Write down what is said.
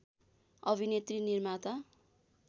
अभिनेत्री निर्माता